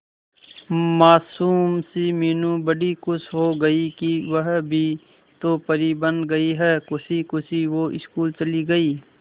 मासूम सी मीनू बड़ी खुश हो गई कि वह भी तो परी बन गई है खुशी खुशी वो स्कूल चली गई